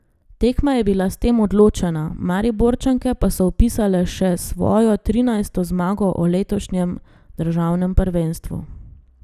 Tekma je bila s tem odločena, Mariborčanke pa so vpisale še svojo trinajsto zmago v letošnjem državnem prvenstvu.